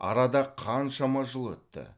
арада қаншама жыл өтті